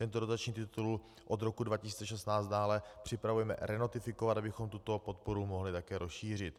Tento dotační titul od roku 2016 dále připravujeme renotifikovat, abychom tuto podporu mohli také rozšířit.